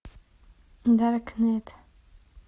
даркнет